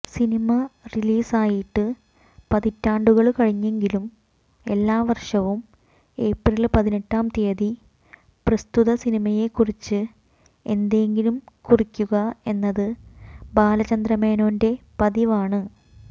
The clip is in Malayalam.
സിനിമ റിലീസായിട്ട് പതിറ്റാണ്ടുകള് കഴിഞ്ഞെങ്കിലും എല്ലാവര്ഷവും ഏപ്രില് പതിനെട്ടാം തിയതി പ്രസ്തുത സിനിമയെക്കുറിച്ച് എന്തെങ്കിലും കുറിക്കുക എന്നത് ബാലചന്ദ്രമേനോന്റെ പതിവാണ്